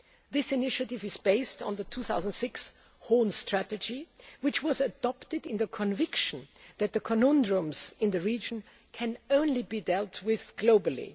This initiative is based on the 2006 Horn strategy, which was adopted in the conviction that the conundrums in the region can only be dealt with